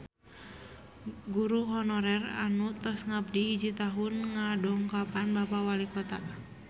Guru honorer anu tos ngabdi hiji tahun ngadongkapan Bapak Walikota